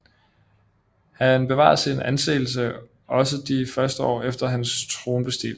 Han bevarede sin anseelse også de første år efter hans tronbestigelse